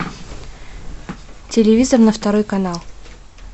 телевизор на второй канал